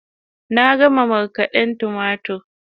Na gama markaden tumatur